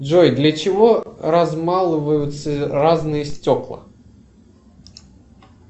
джой для чего размалываются разные стекла